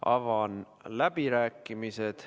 Avan läbirääkimised.